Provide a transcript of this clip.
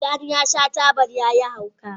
Tjani ya sha tabar ya yi hauka